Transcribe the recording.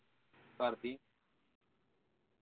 ਕਰਦੀ